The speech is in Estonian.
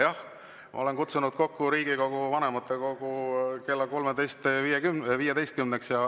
Jah, ma olen kutsunud kokku Riigikogu vanematekogu kella 13.15-ks.